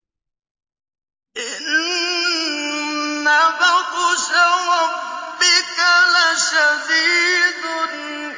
إِنَّ بَطْشَ رَبِّكَ لَشَدِيدٌ